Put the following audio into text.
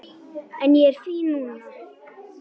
En ég er fín núna.